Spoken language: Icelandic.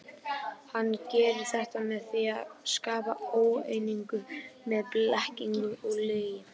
Hann gerir þetta með því að skapa óeiningu með blekkingum og lygi.